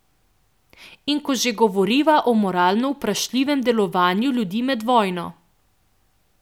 In ko že govoriva o moralno vprašljivem delovanju ljudi med vojno ...